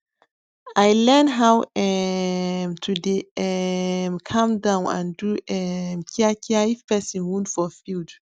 i learn how um to dey um calm down and do um kia kia if person wound for field